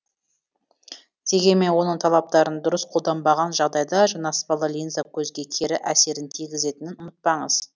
дегенмен оның талаптарын дұрыс қолданбаған жағдайда жанаспалы линза көзге кері әсерін тигізетінін ұмытпаңыз